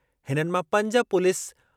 हिननि मां पंज पुलिस